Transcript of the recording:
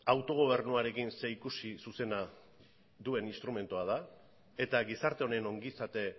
autogobernuarekin zerikusi zuzena duen instrumentua da eta gizarte honen ongizate